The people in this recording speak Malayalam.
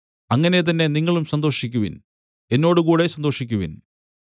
അങ്ങനെ തന്നെ നിങ്ങളും സന്തോഷിക്കുവിൻ എന്നോടുകൂടെ സന്തോഷിക്കുവിൻ